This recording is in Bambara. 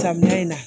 Samiya in na